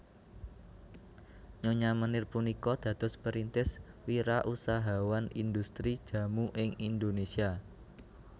Nyonya Meneer punika dados perintis wirausahawan indhustri jamu ing Indonesia